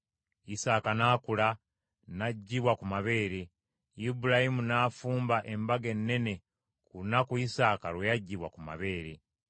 Isaaka n’akula, n’aggyibwa ku mabeere, Ibulayimu n’afumba embaga ennene ku lunaku Isaaka lwe yaggyibwa ku mabeere.